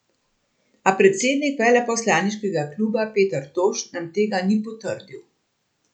A predsednik veleposlaniškega kluba Peter Toš nam tega ni potrdil.